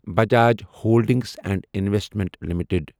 Bajaj holdings and investment limited